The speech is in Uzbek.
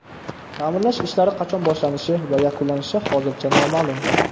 Ta’mirlash ishlari qachon boshlanishi va yakunlanishi hozircha noma’lum.